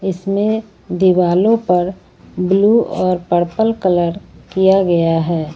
इसमें दीवालो पर ब्लू और पर्पल कलर किया गया है।